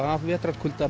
af